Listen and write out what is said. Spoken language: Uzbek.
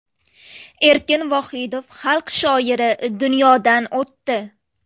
Erkin Vohidov, Xalq shoiri, dunyodan o‘tdi.